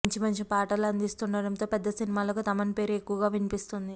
మంచి మంచి పాటల అందిస్తుండటంతో పెద్ద సినిమాలకు తమన్ పేరు ఎక్కువ వినిపిస్తోంది